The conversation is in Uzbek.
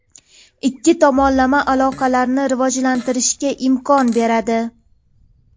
ikki tomonlama aloqalarni rivojlantirishga imkon beradi.